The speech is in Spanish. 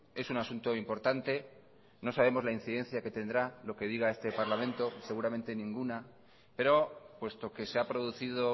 es un asunto importante no sabemos la incidencia que tendrá lo que diga este parlamento seguramente ninguna pero puesto que se ha producido